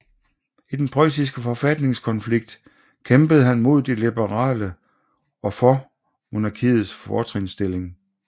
I den preussiske forfatningskonflikt kæmpede han mod de liberale og for monarkiets fortrinsstilling